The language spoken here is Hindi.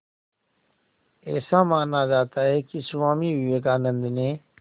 ऐसा माना जाता है कि स्वामी विवेकानंद ने